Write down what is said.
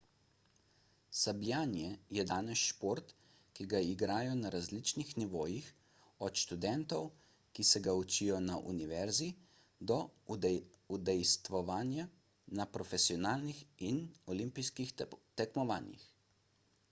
sabljanje je danes šport ki ga igrajo na različnih nivojih od študentov ki se ga učijo na univerzi do udejstvovanja na profesionalnih in olimpijskih tekmovanjih